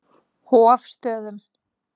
Hofstöðum